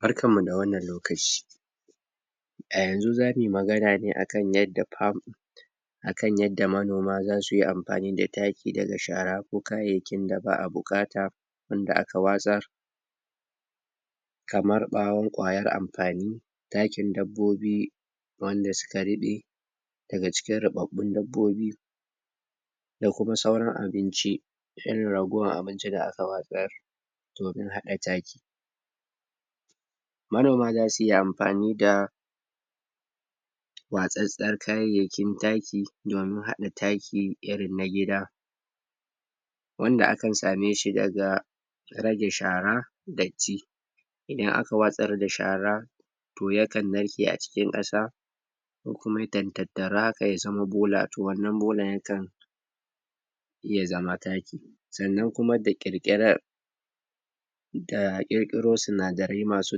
barkanmu da wannan lokaci a yanzu zamu yi magana ne akan yadda akan yadda manoma zasu yi amfani da taki daga shara ko kayayyakin da ake buƙata wanda aka watsar kamar ɓawon kwayar amfani takin dabbobi wanda suka ruɓe daga cikin ruɓaɓɓun dabbobi da kuma sauran abinci irin ragowar abinci da aka watsar domin haɗa taki manoma zasu iya amfani da watsattar kayayyakin taki domin haɗa taki irin na gida wanada akan same shi daga rage shara datti idan aka watsarda shara yakan narke a cikin ƙasa ko kuma yakan tattaru haka ya zama bola to wannan bolan yakan ya zama taki sannan kuma da ƙirƙirar da ƙirƙiro sinadarai masu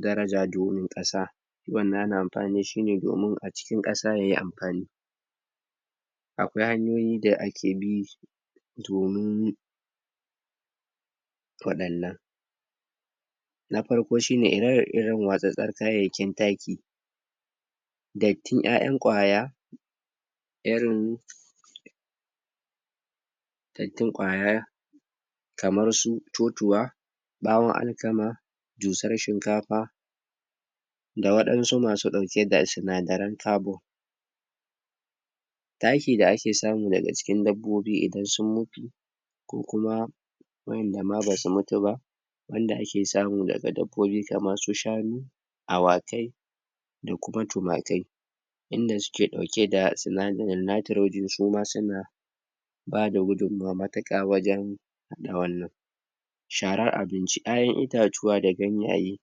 daraja domin ƙasa kowanne ana amfani dashi ne domin a cikin yayi amfani akwai hanyoyi da ake bi domin waɗannan na farko shine ire-iren watsattsar kayayakin taki dattin ƴaƴan kwaya irin dattin kwaya kamar su totuwa ɓawon alkama dusar shinkafa da waɗansu masu ɗaukeda sinadaran carbon taki da ake samu daga cikin dabbobi idan sun mutu in kuma waƴanda ma basu mutu ba abinda ake samu daga dabbobi kamarsu shanu awakai da kuma tumakai inda suke ɗauke da sinadarin Nitrogene suma suna bada gudunmawa matuƙa wajen sharar abinci, ƴaƴan itatuwa da ganyaye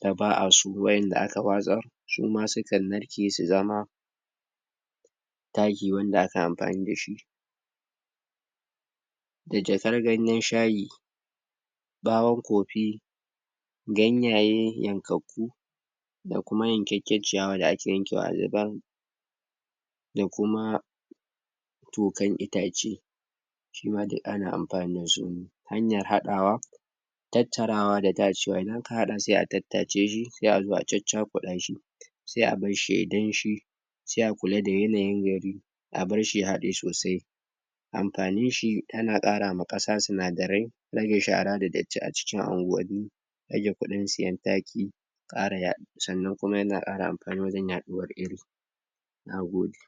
da ba'a so waƴanda aka watsar suma sukan narke su zama taki wanad aka amfani dashi da jakar ganyen shayi ɓawon coffee ganyaye yankakku da kuma yankakker ciyawa da ake yankewa a zubar da kuma tokan itace suma duk ana amfani dasu hanayar haɗawa tattarawa da tacewa in aka haɗa sai a tattaceshi sai azo a caccakuɗashi sai a barshi yayi danshi sai a kula da yanayin gari a barshi ya haɗe sosai amfaninshi tana ƙara ma ƙasa sinadarai rage shara da datti a cikin anguwanni rage kuɗin siyan taki ƙara, sannan kuma yana ƙara amfani wurin yaɗuwar iri nagode